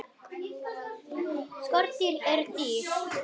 Skordýr eru dýr.